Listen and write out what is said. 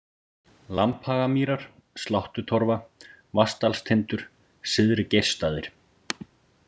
Lambhagamýrar, Sláttutorfa, Vatnsdalstindur, Syðri-Geirsstaðir